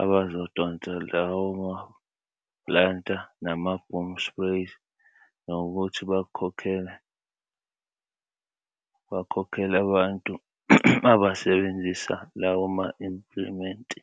abazodonsa lawo ma-planta nama-boom sprays nokuthi bakhokhele abantu abasebenzisa lawo ma-implimenti.